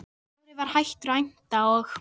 Kári var hættur að æmta og